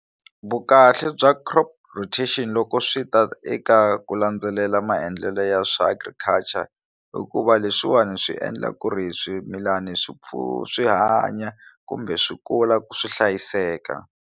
Vukahle bya crop rotation loko swi ta eka ku landzelela maendlelo ya swa agriculture hikuva leswiwani swi endla ku ri swimilana swi swi hanya kumbe swi kula ku swi hlayiseka.